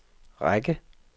række